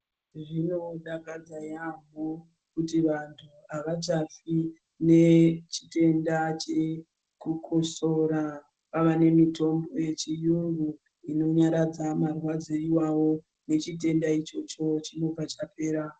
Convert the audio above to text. Zvinodakadza yaamho kuti vantu avachafi nechitenda chekukosora. Kwava nemitombo yechiyungu inonyaradza marwadzo iwayo nechitenda ichocho chinobva chapera.